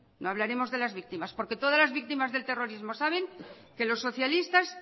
no hablaremos de las víctimas porque todas las víctimas del terrorismo saben que los socialistas